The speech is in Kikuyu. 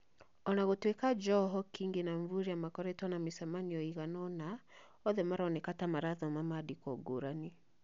O na gũtuika Joho, Kingi na Mvurya nĩ makoretwo na mĩcemanio ĩigana ũna, othe maroneka ta marathoma maandĩko ngũrani.